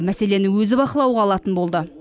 мәселені өзі бақылауға алатын болды